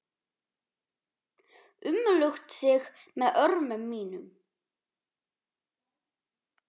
Umlukt þig með örmum mínum.